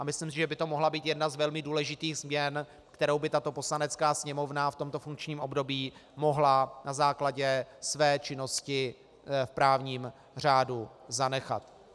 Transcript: A myslím si, že by to mohla být jedna z velmi důležitých změn, kterou by tato Poslanecká sněmovna v tomto funkčním období mohla na základě své činnosti v právním řádu zanechat.